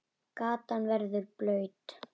Gatan verður blaut.